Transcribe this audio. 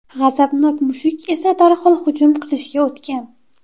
G‘azabnok mushuk esa darhol hujum qilishga o‘tgan.